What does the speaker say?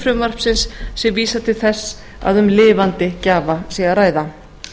frumvarpsins sé vísað til þess að um lifandi gjafa sé að ræða